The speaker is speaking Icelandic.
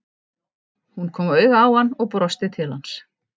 Hún kom auga á hann og brosti til hans.